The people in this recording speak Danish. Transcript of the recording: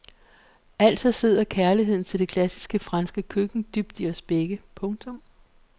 Altså sidder kærligheden til det klassiske franske køkken dybt i os begge. punktum